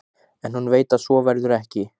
En hún veit að svo verður ekki.